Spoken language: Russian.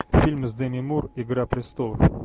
фильм с деми мур игра престолов